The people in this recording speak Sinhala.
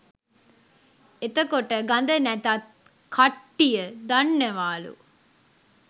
එතකොට ගඳ නැතත් කට්ටිය දන්නවාලු